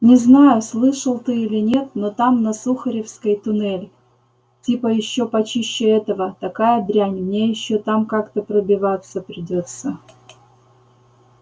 не знаю слышал ты или нет но там на сухаревской туннель типа ещё почище этого такая дрянь мне ещё там как-то пробиваться придётся